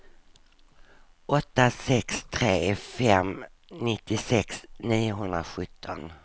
åtta sex tre fem nittiosex niohundrasjutton